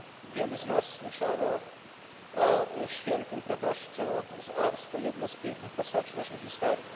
Wielu z nas słyszało o świętym proboszczu z Ars, to jedna z pięknych postaci naszej historii.